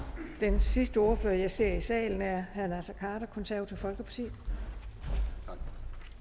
den sidste ordfører og jeg ser i salen er herre naser khader konservative folkeparti